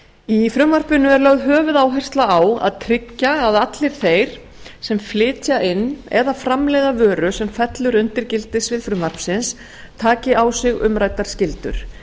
í frumvarpinu er lögð höfuðáhersla á að tryggja að allir þeir sem flytja inn eða framleiða vöru sem fellur undir gildissvið frumvarpsins taki á sig umræddar skyldur